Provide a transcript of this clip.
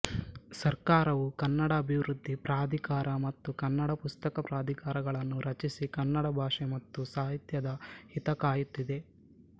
ಸರ್ಕಾರವೂ ಕನ್ನಡ ಅಭಿವೃದ್ಧಿ ಪ್ರಾಧಿಕಾರ ಮತ್ತು ಕನ್ನಡ ಪುಸ್ತಕ ಪ್ರಾಧಿಕಾರಗಳನ್ನು ರಚಿಸಿ ಕನ್ನಡ ಭಾಷೆ ಮತ್ತು ಸಾಹಿತ್ಯದ ಹಿತಕಾಯುತ್ತಿದೆ